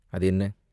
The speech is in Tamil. "அது என்ன?